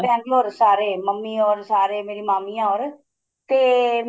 Bangalore ਸਾਰੇ mummy or ਸਾਰੇ ਮੇਰੀ ਮਾਮੀਆਂ or ਤੇ